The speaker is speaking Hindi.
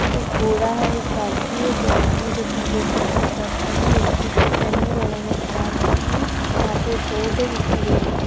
एक बोरा है एक बाल्टी है दो आदमी है जिसने ब्लू कलर की शर्ट पहनी है एक टी-शर्ट पहनी हैं दोनों ने पेंट पहनी है। वहाँ पे बोर्ड है जिसमे रेड लाइट --